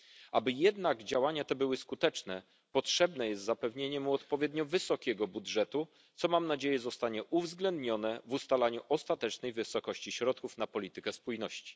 Aby jednak działania te były skuteczne, potrzebne jest zapewnienie mu odpowiednio wysokiego budżetu, co mam nadzieję zostanie uwzględnione w ustalaniu ostatecznej wysokości środków na politykę spójności.